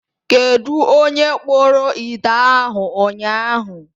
Kedụ onye kpụrụ ite ahụ ụnyaahụ.